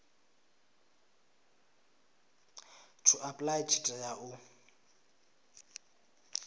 to apply tshi tea u